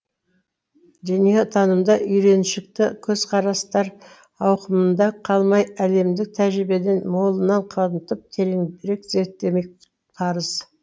дүниетанымда үйреншікті көзқарастар ауқымында қалмай әлемдік тәжірибені молынан қамтып тереңірек зертемек парыз